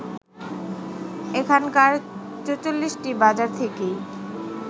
এখানকার ৪৪টি বাজার থেকেই